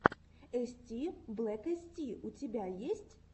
эстиблэкэсти у тебя есть